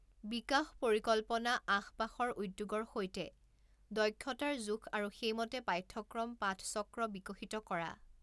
বিকাশ পৰিকল্পনা আশপাশৰ উদ্যোগৰ সৈতে দক্ষতাৰ জোখ আৰু সেই মতে পাঠ্যক্ৰম পাঠচক্ৰ বিকশিত কৰা।